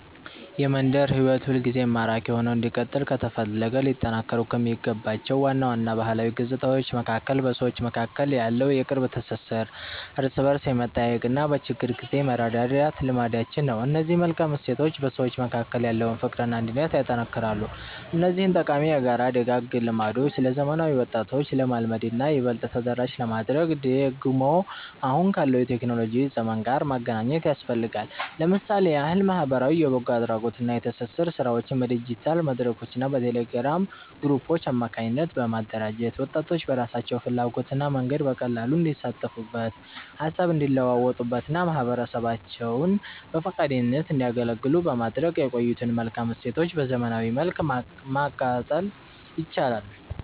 የመንደር ሕይወት ሁልጊዜም ማራኪ ሆኖ እንዲቀጥል ከተፈለገ ሊጠናከሩ ከሚገባቸው ዋና ዋና ባህላዊ ገጽታዎች መካከል በሰዎች መካከል ያለው የቅርብ ትሥሥር፣ እርስ በርስ የመጠያየቅና በችግር ጊዜ የመረዳዳት ልማዳችን ነው። እነዚህ መልካም እሴቶች በሰዎች መካከል ያለውን ፍቅርና አንድነት ያጠነክራሉ። እነዚህን ጠቃሚ የጋራ ደጋግ ልማዶች ለዘመናዊ ወጣቶች ለማልመድና ይበልጥ ተደራሽ ለማድረግ ደግሞ አሁን ካለው የቴክኖሎጂ ዘመን ጋር ማገናኘት ያስፈልጋል። ለምሳሌ ያህል ማኅበራዊ የበጎ አድራጎትና የትብብር ሥራዎችን በዲጂታል መድረኮችና በቴሌግራም ግሩፖች አማካኝነት በማደራጀት፣ ወጣቶች በራሳቸው ፍላጎትና መንገድ በቀላሉ እንዲሳተፉበት፣ ሃሳብ እንዲለዋወጡበትና ማኅበረሰባቸውን በፈቃደኝነት እንዲያገለግሉ በማድረግ የቆዩትን መልካም እሴቶች በዘመናዊ መልክ ማቀጠል ይቻላል።